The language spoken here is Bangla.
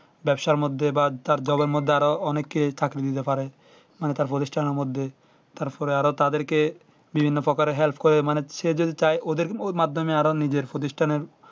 ব্যবসার মধ্যে বা তার jobe মধ্যে আরো অনেকেই চাকরি দিতে পারে মানে তার প্রতিষ্ঠান এর মধ্যে তারপরে আরো তাদেরকে বিভিন্ন প্রকারে help করে মানুষের যেতে চাই ওদের মাধ্যমে ওই নিজের নিজের প্রতিষ্ঠান